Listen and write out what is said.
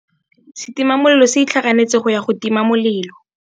Setima molelô se itlhaganêtse go ya go tima molelô.